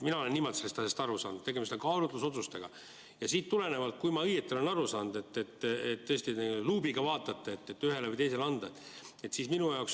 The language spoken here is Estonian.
Mina olen sellest asjast aru saanud niimoodi, et tegemist on kaalutlusotsusega, ja sellest tulenevalt, kui ma õigesti olen aru saanud, te tõesti luubiga vaatate, kas ühele või teisele anda.